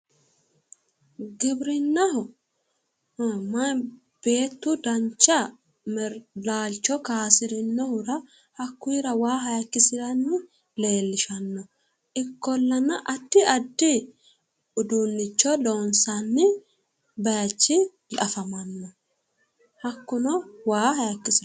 Gibirinnaho beettu dancha laalicho kaysirinohura waa hayikkisirani afamano ikkollana waa hayikkisiranori biinfori dinosi